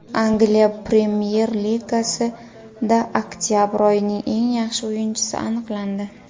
Angliya premyer ligasida oktabr oyining eng yaxshi o‘yinchisi aniqlandi.